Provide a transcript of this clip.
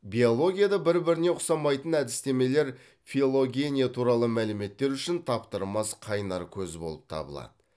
биологияда бір біріне ұқсамайтын әдістемелер филогения туралы мәліметтер үшін таптырмас қайнар көз болып табылады